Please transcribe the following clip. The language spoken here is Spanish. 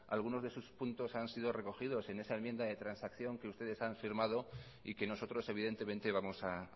algunos de sus puntos han sido recogidos en esa enmienda de transacción que ustedes han firmado y que nosotros evidentemente vamos a